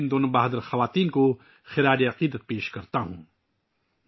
میں ان دو بہادر خواتین کو خراج عقیدت پیش کرتا ہوں